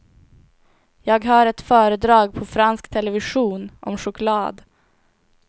Jag hör ett föredrag på fransk television om choklad.